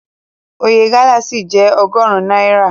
Oye gálà ṣì jẹ́ ọgọrun náírà.